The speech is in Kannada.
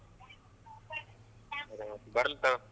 ಹ್ಮ ಬರ್ಲ್ ತೊಗೊ.